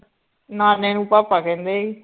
ਨਾਨੇ ਨੂੰ ਭਾਪਾ ਕਹਿੰਦੇ ਹੀ